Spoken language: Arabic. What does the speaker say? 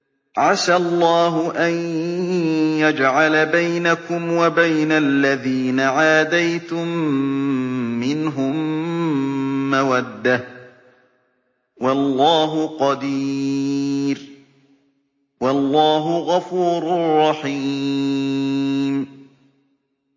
۞ عَسَى اللَّهُ أَن يَجْعَلَ بَيْنَكُمْ وَبَيْنَ الَّذِينَ عَادَيْتُم مِّنْهُم مَّوَدَّةً ۚ وَاللَّهُ قَدِيرٌ ۚ وَاللَّهُ غَفُورٌ رَّحِيمٌ